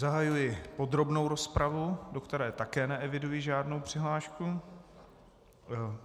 Zahajuji podrobnou rozpravu, do které také neeviduji žádnou přihlášku.